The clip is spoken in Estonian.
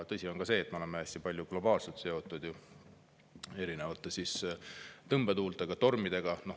Tõsi on ka see, et me oleme globaalselt hästi palju seotud erinevate tõmbetuultega, tormidega.